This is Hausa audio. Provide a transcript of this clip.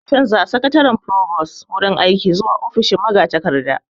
Za'a canja wa Sakataren furobos wurin aiki zuwa ofishin magatakarda